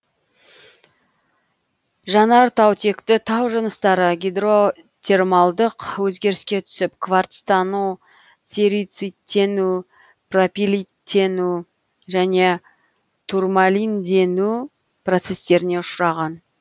жанартаутекті тау жыныстары гидротермалдық өзгеріске түсіп кварцтану серициттену пропилиттену және турмалиндену процестеріне ұшыраған